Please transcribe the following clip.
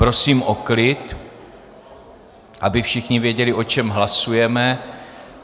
Prosím o klid, aby všichni věděli, o čem hlasujeme.